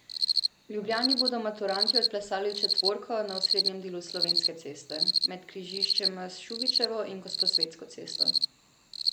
V Ljubljani bodo maturantje odplesali četvorko na osrednjem delu Slovenske ceste, med križiščema s Šubičevo in Gosposvetsko cesto.